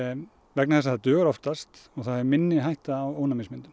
vegna þess að það dugast oftast og það eru minni hætta á